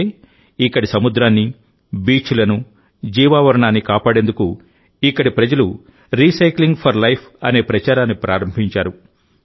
అందుకే ఇక్కడి సముద్రాన్ని బీచ్లను జీవావరణాన్ని కాపాడేందుకు ఇక్కడి ప్రజలు రీసైక్లింగ్ ఫర్ లైఫ్ అనే ప్రచారాన్ని ప్రారంభించారు